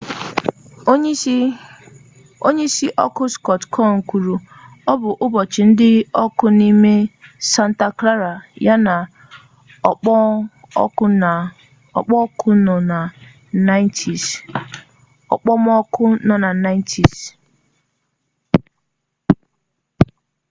onyeisi ọkụ scott kouns kwuru ọ bụ ụbọchị dị ọkụ n'ime santa clara ya na okpomọkụ nọ na 90s